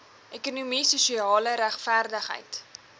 ekonomie sosiale regverdigheid